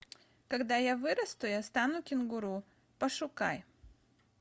когда я вырасту я стану кенгуру пошукай